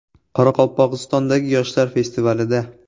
Qoraqalpog‘istondagi yoshlar festivalida.